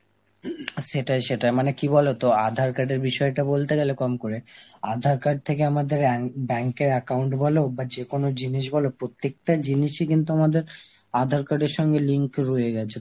সেটাই সেটাই মানে কি বলতো আধার card এর বিষয়টা বলতে গেলে কম করে আধার card থেকে আমাদের অ্যাঙ্ক~ bank এর account বলো বা বাজে কোন জিনিস বলো প্রত্যেকটা জিনিসই কিন্তু আমাদের আধার card এর সঙ্গে link রয়ে গেছে,